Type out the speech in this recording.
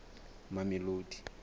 mamelodi